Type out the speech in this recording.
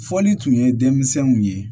Foli tun ye denmisɛnw ye